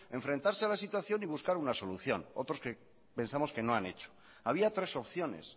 enfrentarse a la situación y buscar una solución otros que pensamos que no han hecho había tres opciones